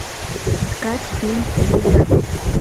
искать фильм звезда